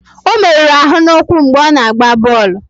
Ọ meruru ahụ n'ụkwụ mgbe ọ na-agba bọọlụ.